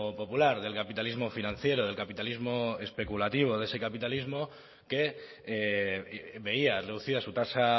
popular del capitalismo financiero del capitalismo especulativo de ese capitalismo que veía reducida su tasa